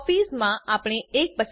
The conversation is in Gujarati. કોપીઝ માં આપણે 1